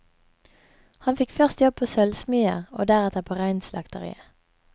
Han fikk først jobb på sølvsmia og deretter på reinslakteriet.